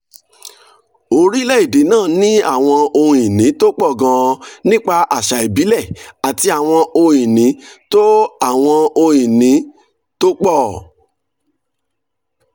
orílẹ̀-èdè náà ní àwọn ohun-ìní tó pọ̀ gan-an nípa àṣà ìbílẹ̀ àti àwọn ohun-ìní tó àwọn ohun-ìní tó pọ̀